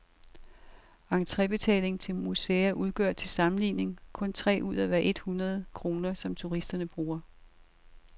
Entrebetaling til museer udgør til sammenligning kun tre ud af hver et hundrede kroner, som turisterne bruger.